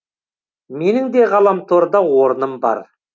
менің де ғаламторда орным бар